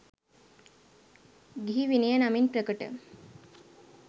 ගිහි විනය නමින් ප්‍රකට